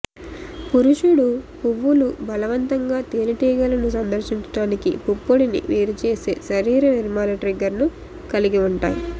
పురుషుడు పువ్వులు బలవంతంగా తేనెటీగలను సందర్శించటానికి పుప్పొడిని వేరుచేసే శరీర నిర్మాణ ట్రిగ్గర్ను కలిగి ఉంటాయి